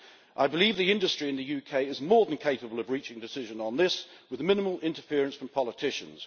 I believe the industry in the UK is more than capable of reaching a decision on this with minimal interference from politicians.